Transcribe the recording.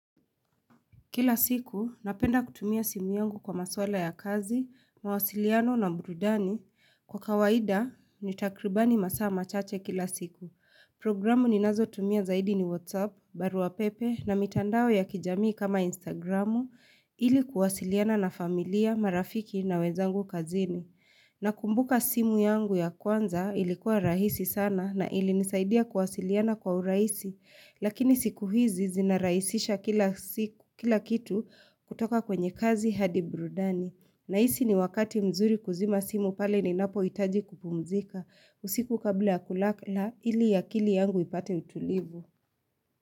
Kila siku napenda kutumia simu yangu kwa maswala ya kazi, mawasiliano na burudani kwa kawaida ni takribani masaa machache kila siku. Programu ninaz tumia zaidi ni WhatsApp, barua pepe na mitandao ya kijamii kama Instagramu ili kuwasiliana na familia, marafiki na wenzangu kazini. Nakumbuka simu yangu ya kwanza ilikuwa rahisi sana na ilinisaidia kuwasiliana kwa urahisi, lakini siku hizi zinarahisisha kila kitu kutoka kwenye kazi hadi burudani. Nahisi ni wakati mzuri kuzima simu pale ninapohitaji kupumzika, usiku kabla ya kulala ili akili yangu ipate utulivu.